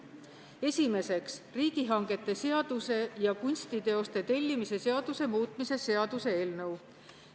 Esiteks, riigihangete seaduse ja kunstiteoste tellimise seaduse muutmise seaduse eelnõu.